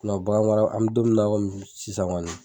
bagan mara ,an bi don min na sisan kɔni.